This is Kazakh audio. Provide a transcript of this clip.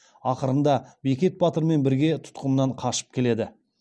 ақырында бекет батырмен бірге тұтқыннан қашып келеді